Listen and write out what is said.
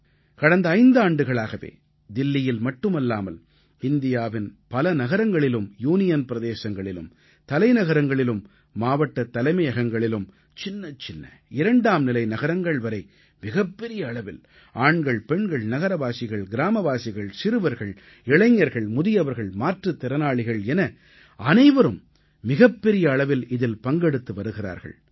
கடந்த ஐந்தாண்டுகளாகவே தில்லியில் மட்டுமல்லாமல் இந்தியாவின் பல நகரங்களிலும் யூனியன் பிரதேசங்களிலும் தலைநகரங்களிலும் மாவட்ட தலைமையகங்களிலும் சின்னச்சின்ன இரண்டாம் நிலை நகரங்கள் வரை மிகப்பெரிய அளவில் ஆண்கள் பெண்கள் நகரவாசிகள் கிராமவாசிகள் சிறுவர்கள் இளைஞர்கள் முதியவர்கள் மாற்றுத் திறனாளிகள் என அனைவரும் மிகப்பெரிய அளவில் இதில் பங்கெடுத்து வருகிறார்கள்